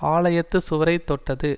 ஆலயத்துச் சுவரைத் தொட்டது